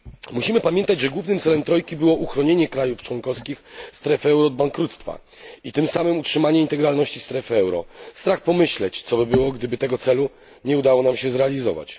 Musimy pamiętać, że głównym celem trojki było uchronienie krajów członkowskich strefy euro od bankructwa i tym samym utrzymanie integralności strefy euro. Strach pomyśleć, co by się stało, gdyby tego celu nie udało nam się zrealizować.